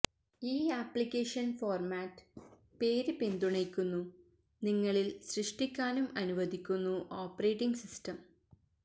ഈ application format പേര് പിന്തുണയ്ക്കുന്നു നിങ്ങളില് സൃഷ്ടിക്കാനും അനുവദിക്കുന്നു ഓപ്പറേറ്റിങ് സിസ്റ്റം